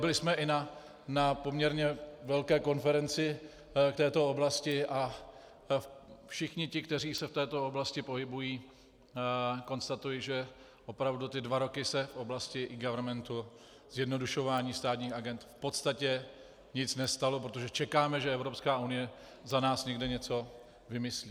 Byli jsme i na poměrně velké konferenci k této oblasti a všichni ti, kteří se v této oblasti pohybují, konstatují, že opravdu ty dva roky se v oblasti eGovernmentu, zjednodušování státních agend, v podstatě nic nestalo, protože čekáme, že Evropská unie za nás někde něco vymyslí.